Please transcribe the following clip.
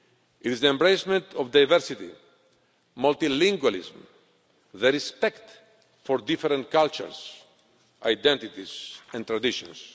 It is the embracement of diversity, multilingualism and respect for different cultures, identities and traditions.